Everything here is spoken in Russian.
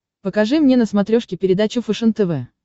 покажи мне на смотрешке передачу фэшен тв